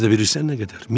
Özü də bilirsən nə qədər?